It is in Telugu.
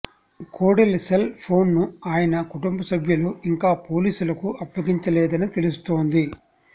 కోడెల సెల్ ఫోన్ను ఆయన కుటుంబసభ్యులు ఇంకా పోలీసులకు అప్పగించలేదని తెలుస్తోంది